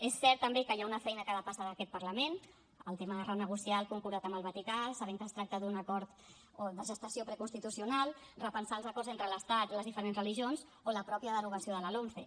és cert també que hi ha una feina que depassa aquest parlament el tema de renegociar el concordat amb el vaticà sabent que es tracta d’un acord de gestació preconstitucional repensar els acords entre l’estat i les diferents religions o la mateixa derogació de la lomce